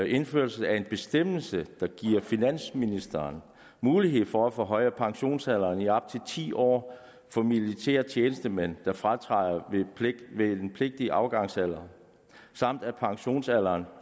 indførelse af en bestemmelse der giver finansministeren mulighed for at forhøje pensionsalderen i op til ti år for militære tjenestemænd der fratræder ved den pligtige afgangsalder samt at pensionsalderen